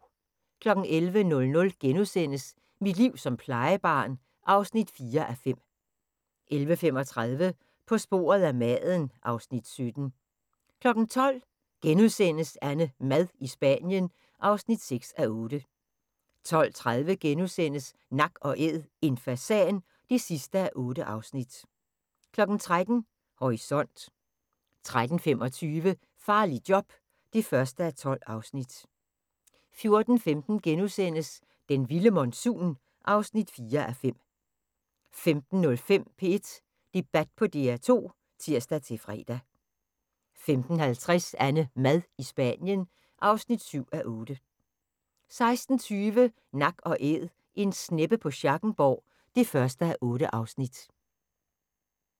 11:00: Mit liv som plejebarn (4:5)* 11:35: På sporet af maden (Afs. 17) 12:00: AnneMad i Spanien (6:8)* 12:30: Nak & Æd – en fasan (8:8)* 13:00: Horisont 13:25: Farligt job (1:12) 14:15: Den vilde monsun (4:5)* 15:05: P1 Debat på DR2 (tir-fre) 15:50: AnneMad i Spanien (7:8) 16:20: Nak & Æd - En sneppe på Schackenborg (1:8)